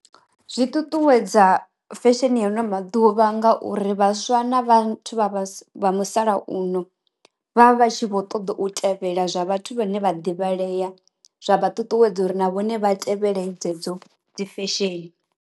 Zwi ṱuṱuwedza fesheni ya ano maḓuvha nga uri vhaswa na vhathu vha musalauno vha vha tshi vho ṱoḓa u tevhela zwa vhathu vhane vha ḓivha Lea, zwa vha ṱuṱuwedza uri na vhone vha tevhelelei dzedzo dzi fesheni.